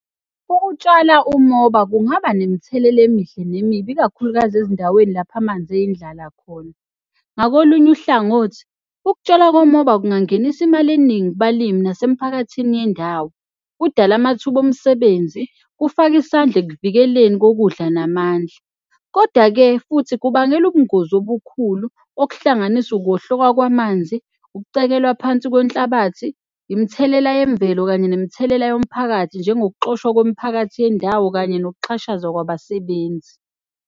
Ukutshala umoba kungaba nemithelela emihle nemibi, ikakhulukazi ezindaweni lapho amanzi eyindlala khona. Ngakolunye uhlangothi, ukutshalwa komoba kungangenisa imali eningi kubalimi nasemphakathini yendawo. Kudala amathuba omsebenzi, kufake isandla ekuvikeleni kokudla namandla. Koda-ke futhi kubangela ubungozi obukhulu okuhlanganisa ukuwohloka kwamanzi, ukucekelwa phansi kwenhlabathi. Imithelela yemvelo kanye nemithelela yomphakathi, njengokuxoshwa komphakathi yendawo kanye nokuxhashazwa kwabasebenzi.